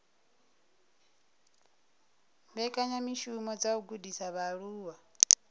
mbekanyamishumo dza u gudisa vhaaluwa